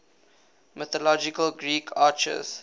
mythological greek archers